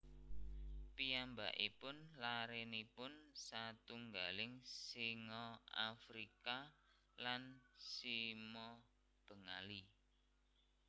Piyambakipun larénipun satunggaling singa Afrika lan sima Bengali